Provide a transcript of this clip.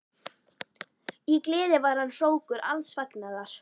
Í gleði var hann hrókur alls fagnaðar.